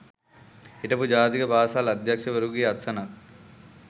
හිටපු ජාතික පාසල් අධ්‍යක්ෂවරයකුගේ අත්සනක්